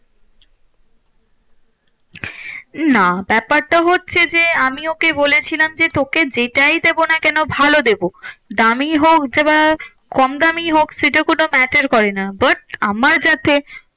না, ব্যাপারটা হচ্ছে যে, আমি ওকে বলেছিলাম যে, তোকে যেটাই দেবো না কেন ভালো দেবো দামই হোক যে বা কম দামেই হোক সেটা কোনো matter করে না। but আমার যাতে